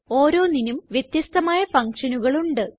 ഓരോന്നിനും വ്യത്യസ്തമായ functionകൾ ഉണ്ട്